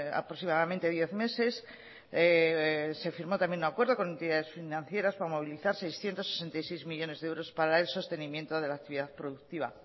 aproximadamente diez meses se firmó también un acuerdo con entidades financieras para movilizar seiscientos sesenta y seis millónes de euros para el sostenimiento de la actividad productiva